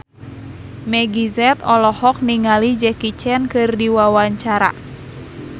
Meggie Z olohok ningali Jackie Chan keur diwawancara